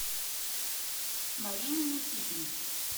марине никитиной